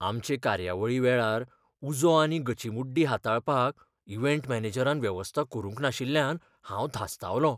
आमचे कार्यावळी वेळार उजो आनी गचीमुड्डी हाताळपाक इव्हेंट मॅनेजरान वेवस्था करूंक नाशिल्ल्यान हांव धास्तावलों.